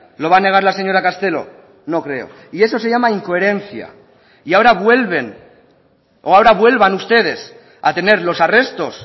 lo va a negar la señora castelo no creo y eso se llama incoherencia y ahora vuelven o ahora vuelvan ustedes a tener los arrestos